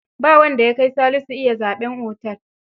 Ba wanda ya kai Salisu iya zaɓen otel.